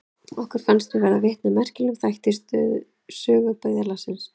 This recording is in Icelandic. Okkur fannst við verða vitni að merkilegum þætti í sögu byggðarlagsins.